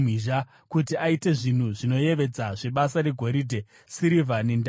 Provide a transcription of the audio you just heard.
kuti aite zvinhu zvinoyevedza zvebasa regoridhe, sirivha nendarira,